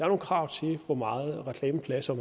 nogle krav til hvor meget reklameplads og